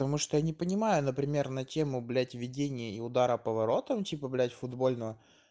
потому что я не понимаю например на тему блять введение и удара по воротам типа блять футбольного